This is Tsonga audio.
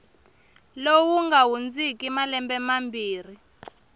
lowu nga hundziki malembe mambirhi